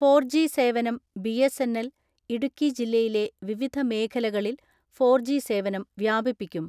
Four G സേവനം BSNL, Idukki ജില്ലയിലെ വിവിധ മേഖലകളിൽ ഫോർ ജി സേവനം വ്യാപിപ്പിക്കും.